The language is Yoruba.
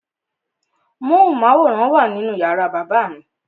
Móhùnmáwòrán wà nínú yàrá bàbá mi.